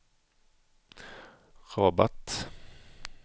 Rabat